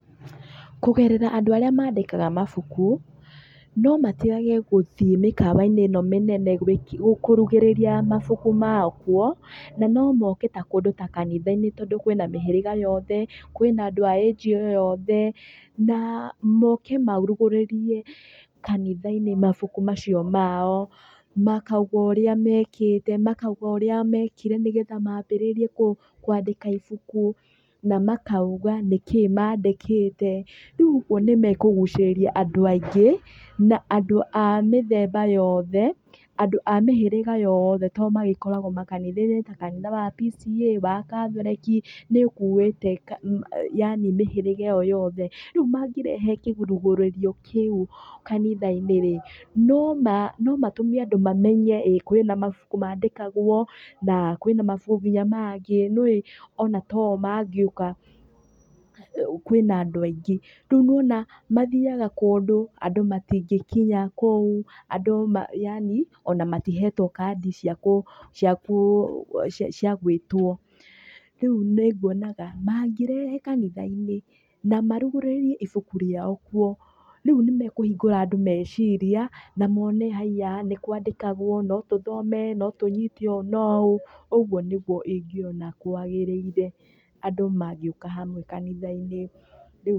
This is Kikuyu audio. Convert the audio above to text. Kũgerera andũ arĩa mandĩkaga mabuku, no matigage gũthiĩ mĩkawa-inĩ ĩno mĩnene kũrugĩrĩria mabuku mao kuo na no moke kũndũ ta kanitha-inĩ tondũ kwĩna mĩhĩrĩga yothe, kwĩna andũ a age o yothe, na moke marugũrĩrie kanitha-inĩ mabuku macio mao. Makauga ũrĩa mekĩte, makauga ũrĩa mekire nĩgetha maambĩrĩrie kwandĩka ibuku, na makauga nĩkĩ mandĩkĩte. Rĩu ũguo nĩ mekũgucĩrĩria andũ aingĩ na andũ a mĩthemba yothe, andũ a mĩhĩrĩga yothe tondũ magĩkoragũo makanitha-inĩ ta kanitha wa P.C.E.A wa Catholic nĩ ũkuĩte yaani mĩhĩrĩga ĩyo yothe. Rĩu mangĩrehe kĩrugĩrĩrio kĩu kanitha-inĩ andũ no mamenye kwĩna mabuku maandĩkagũo, kwĩna mabuku nginya mangĩ, ona to o mangĩũka kwĩna andũ aingĩ. Rĩu nĩ wona mathiaga kũndũ andũ matingĩkinya kũu andũ yaani ona matihetwo kandi cia gwĩtwo. Rĩu nĩnguonaga mangĩrehe kanitha-ini na marugurĩrie ibuku riao kuo, rĩu nĩ mekũhingũra andũ meciria na mona haiya nĩ kwandĩkagũo, no tũthome, no tũnyite ũũ na ũũ, ũguo nĩguo ingĩona kwagĩrĩire, andũ magĩũka hamwe kanitha-inĩ rĩu...